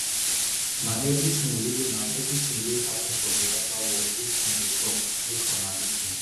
na everytin wey na everytin wey happen for biafra war dis song dey tok make una lis ten